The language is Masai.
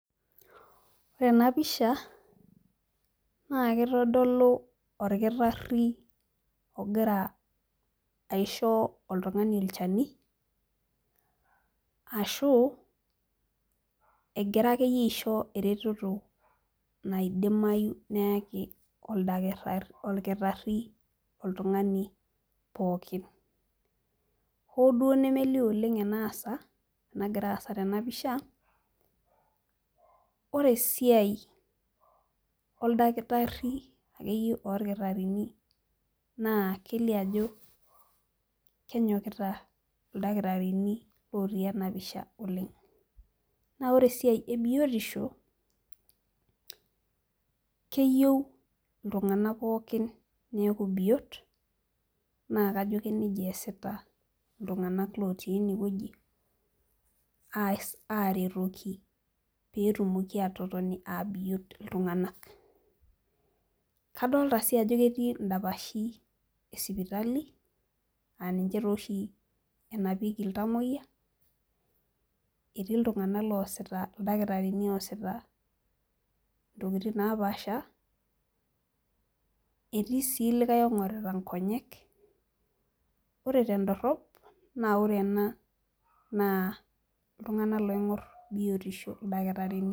Ore ena pisha naa kitodolu olkirari ogira aisho oltungani olchani, ashu egira akeyie aisho eretoto naidimayu neeku olkirari oltungani pookin, hoo duoo nemelio oleng enaasa, enagira aasa tena pisha, ore esiai oldakitari akeyie olkitarini naa, kelio ajo kenyokita ildakitarini otii ena pisha oleng. naa ore esiai ebiotisho, keyieu iltunganak pookin neeku biot. naa kajo keniajia esita iltunganak lotii ene wueji, aaretoki pee etumoki aatotoni aabiot iltunganak. kadoolta sii ajo ketii idapashi sipitali aa ninche taa oshi enapieko iltamoyia. Etii iltunganak loosita. ildakitarini oosita ntokitin napaasha. etii sii likae oingorita nkonyek. ore tedorop naa ore ena naa iltunganak oingor biotisho. ildakitarini.